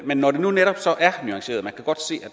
men når det nu netop